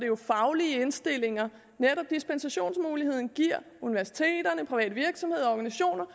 jo faglige indstillinger netop dispensationsmuligheden giver universiteterne private virksomheder organisationer